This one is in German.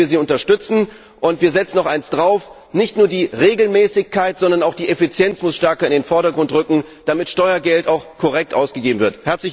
Darin möchten wir Sie unterstützen, und wir setzen noch eins drauf Nicht nur die Regelmäßigkeit, sondern auch die Effizienz muss stärker in den Vordergrund rücken, damit Steuergeld auch korrekt ausgegeben wird.